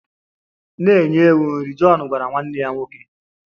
Na-enye ewu nri! Jọn gwara nwanne ya nwoke.